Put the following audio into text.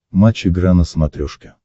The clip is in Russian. матч игра на смотрешке